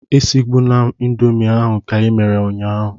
Esigbuna indomie ahụ ka i mere ụnyahụ!